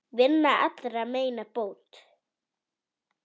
Vinnan allra meina bót.